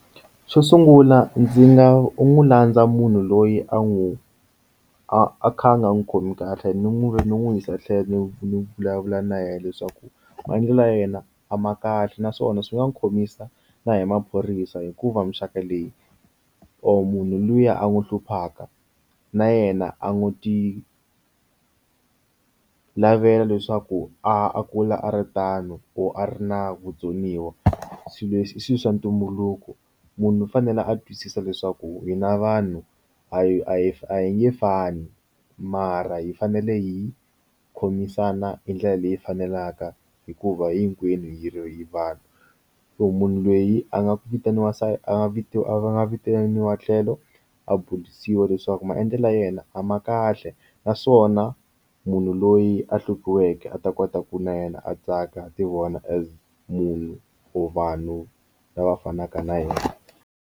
Xo sungula ndzi nga u n'wi landza munhu loyi a n'wi a kha a nga n'wi khomi kahle ni n'we ni n'wi yisa tlhelo ni vulavula na yena leswaku maendlelo ya yena a ma kahle naswona swi nga n'wi khomisa na hi maphorisa hikuva muxaka leyi or munhu luya a n'wi hluphaka na yena a n'wi ti lavela leswaku a kula a ri tano or a ri na vutsoniwa swilo leswi i swilo swa ntumbuluko munhu u fanele a twisisa leswaku hi na vanhu a hi a hi a hi nge fani mara hi fanele hi khomisana hi ndlela leyi faneleke hikuva hinkwenu hi ro hi vanhu so munhu lweyi a nga ku vitaniwa siye a nga vitiwa a va nga vitaniwa tlhelo a burisiwa leswaku maendlelo ya yena a ma kahle naswona munhu loyi a hluviweke a ta kota ku na yena a tsaka ti vona as munhu or vanhu lava fanaka na yona.